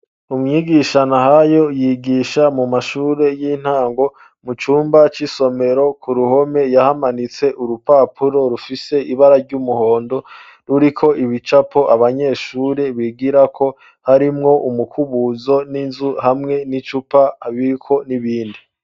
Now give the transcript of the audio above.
Umwigishano Nahayo yigisha mu mashuri y'intango mu cumba c'isomero ku ruhome yahamanitse urupapuro rufise ibara ry'umuhondo ruriko ibicapo abanyeshuri bigirako harimwo umukubuzo n'inzu hamwe n'icupa biriko n'ibindi...